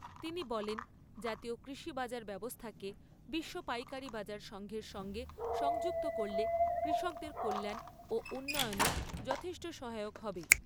তিনি বলেন জাতীয় কৃষি বাজার ব্যবস্থাকে বিশ্ব পাইকারী বাজার সঙ্ঘের সঙ্গে সংযুক্ত করলে কৃষকদের কল্যাণ ও উন্নয়নে যথেষ্ট সহায়ক হবে।